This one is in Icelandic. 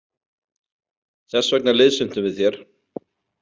Þess vegna liðsinntum við þér.